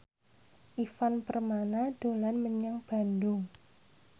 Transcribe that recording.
Ivan Permana dolan menyang Bandung